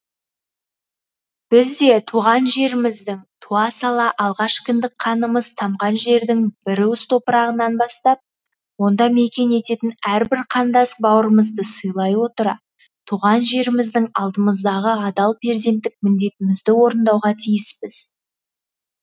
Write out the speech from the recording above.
біз де туған жеріміздің туа сала алғаш кіндік қанымыз тамған жердің бір уыс топырағынан бастап онда мекен ететін әрбір қандас бауырымызды сыйлай отыра туған жеріміздің алдымыздағы адал перзенттік міндетімізді орындауға тиіспіз